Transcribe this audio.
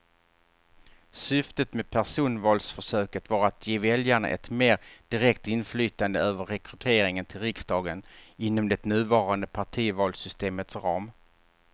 Syftet med personvalsförsöket var att ge väljarna ett mer direkt inflytande över rekryteringen till riksdagen inom det nuvarande partivalssystemets ram.